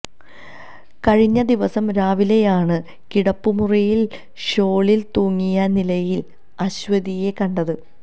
കഴിഞ്ഞ ദിവസം രാവിലെയാണ് കിടപ്പുമുറിയില് ഷോളില് തൂങ്ങിയ നിലയില് അശ്വതിയെ കണ്ടത്